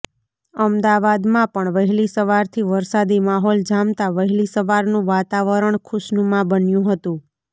અમદાવાદમાં પણ વહેલી સવારથી વરસાદી માહોલ જામતા વહેલી સવારનું વાતાવરણ ખુશનુમા બન્યું હતું